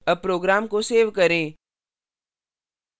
अब program को save करें